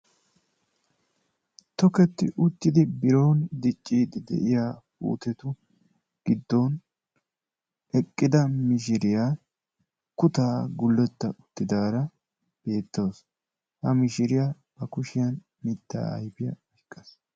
Tokketti uttidi biron diciidi de'iya donotu giddon eqqida mishiriyaa kuttaa guletta uttidaara beetawusu. ha mishiriya ba kushiyan mitaa ayffiyaa oyqaasu.